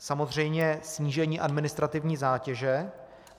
Samozřejmě snížení administrativní zátěže.